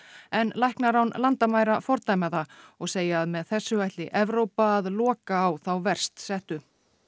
en læknar án landamæra fordæma það og segja að með þessu ætli Evrópa að loka á þá verst settu